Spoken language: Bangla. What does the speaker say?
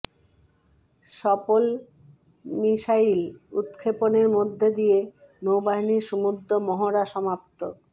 সফল মিসাইল উৎক্ষেপণের মধ্য দিয়ে নৌবাহিনীর সমুদ্র মহড়া সমাপ্ত